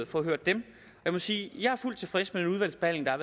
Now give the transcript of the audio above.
fået hørt dem jeg må sige at jeg er fuldt ud tilfreds med den udvalgsbehandling der